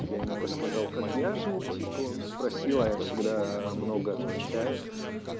я ему рассказал как я жил типа он спросил а я всегда много отвечаю